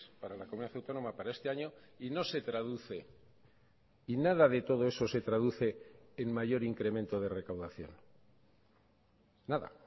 para la comunidad autónoma para este año y no se traduce y nada de todo eso se traduce en mayor incremento de recaudación nada